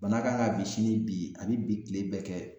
Bana kan ka bi sini bi a bi bi kile bɛɛ kɛ.